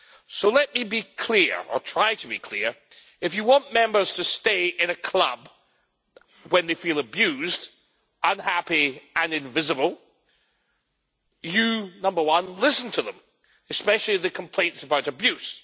So let me be clear, or try to be clear if you want Members to stay in a club when they feel abused, unhappy and invisible you first listen to them especially the complaints about abuse